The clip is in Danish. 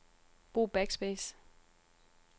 Brug backspace.